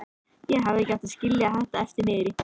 Ég hefði ekki átt að skilja þetta eftir niðri.